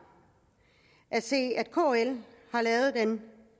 at se at kl har lavet et